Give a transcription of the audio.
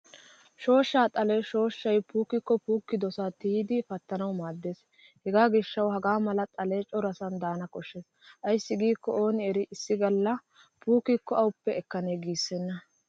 Shooshsha xalee shooshshay puukkikko puukidosaa tiyidi pattanawu maaddiyaagaa. Hegaa gishshawu hagaa mala xalee corasan daana koshshes ayssi giikko ooni erii issi galla puukkikko ahuppe ekanee giissenna.